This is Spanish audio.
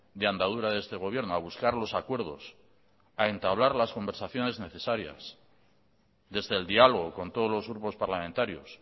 de andadura de este gobierno a buscar los acuerdos a entablar las conversaciones necesarias desde el diálogo con todos los grupos parlamentarios